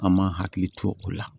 An man hakili to o la